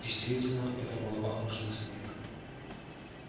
действительно это было похоже на снег